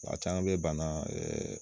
A caman bɛ bana .